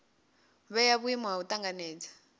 vhea vhuimo ha u tanganedza